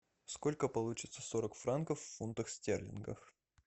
сколько получится сорок франков в фунтах стерлингов